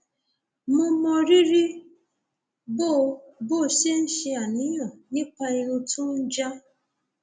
mo mọ rírì bó o bó o ṣe ń ṣàníyàn nípa irun tó ń já